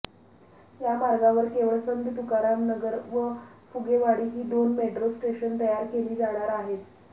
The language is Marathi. या मार्गावर केवळ संत तुकारामनगर व फुगेवाडी ही दोन मेट्रो स्टेशन तयार केली जाणार आहेत